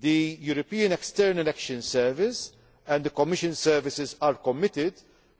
The European External Action Service and the Commission services are committed